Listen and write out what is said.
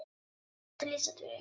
En það er erfitt að lýsa Þuru.